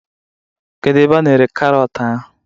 Kedu ebe a na-ere karọt ahụ?